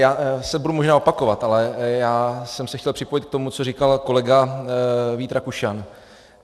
Já se budu možná opakovat, ale já jsem se chtěl připojit k tomu, co říkal kolega Vít Rakušan.